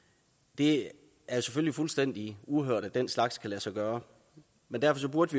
det er selvfølgelig fuldstændig uhørt at den slags kan lade sig gøre men derfor burde